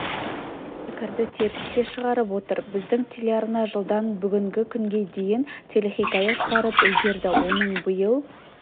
пікірді теріске шығарып отыр біздің телеарна жылдан бүгінгі күнге дейін телехикая шығарып үлгерді оның биыл